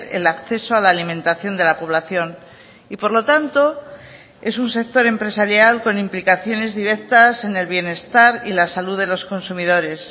el acceso a la alimentación de la población y por lo tanto es un sector empresarial con implicaciones directas en el bienestar y la salud de los consumidores